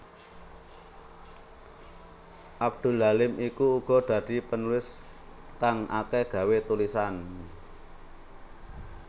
Abdul Halim iku uga dadi penulis kang akeh gawé tulisan